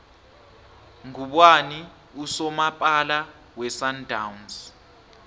nqubani usomapala wesundowns